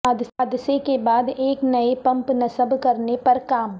حادثے کے بعد ایک نئے پمپ نصب کرنے پر کام